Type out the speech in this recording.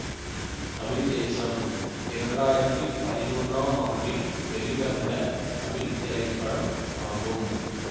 தமிழ் தேசம் இரண்டாயிரத்தி பதினொன்னாம் ஆண்டில் வெளிவந்த தமிழ் திரைப்படம் ஆகும்